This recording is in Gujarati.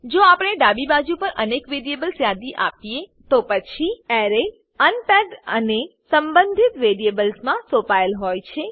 જો આપણે ડાબી બાજુ પર અનેક વેરિયેબલ્સની યાદી આપીએ તો પછી એરે અનપેક્ડ અને સંબંધિત વેરિયેબલ્સ માં સોંપાયેલ હોય છે